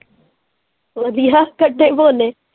ਵਧੀਆ ਕੱਠੇ ਹੀ ਬੋਲੇ।